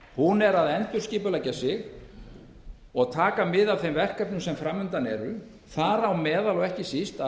hún er að endurskipuleggja sig og taka mið af þeim verkefnum sem fram undan eru þar á meðal og ekki síst að